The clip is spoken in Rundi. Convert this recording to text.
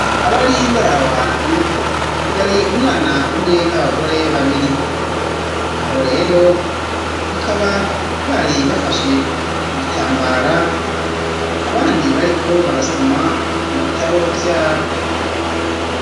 Abari baraho hantu yari umwana umwe n'abagore babiri, abo rero bakaba bari bafashe ku gitambara, abandi bariko barasoma mu bitabo vyabo.